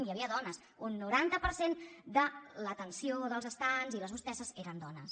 hi havia dones un noranta per cent de l’atenció dels estands i les hostesses eren dones